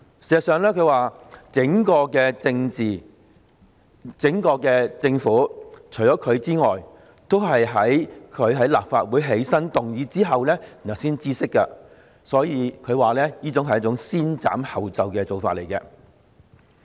他還說，事實上，整個政府除了他之外，都是在他於立法會"起身"動議有關議案後才知悉，所以，他說這是先斬後奏的做法。